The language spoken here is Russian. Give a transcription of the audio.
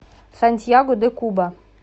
сантьяго де куба